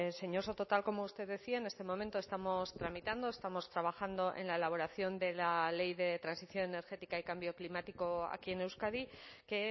señor soto tal como usted decía en este momento estamos tramitando estamos trabajando en la elaboración de la ley de transición energética y cambio climático aquí en euskadi que